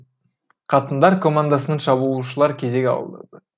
қатындар командасының шабуылшылар кезек алды